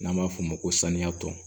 N'an b'a f'o ma ko saniya tɔ